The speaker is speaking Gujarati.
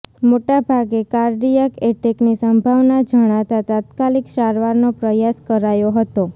મોટાભાગે કાર્ડિયાક એટેકની સંભાવના જણાતાં તાત્કાલિક સારવારનો પ્રયાસ કરાયો હતો